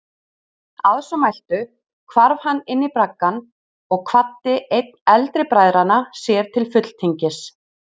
Að svo mæltu hvarf hann inní braggann og kvaddi einn eldri bræðranna sér til fulltingis.